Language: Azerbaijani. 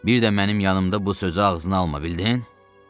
Bir də mənim yanımda bu sözü ağzına alma, bildin?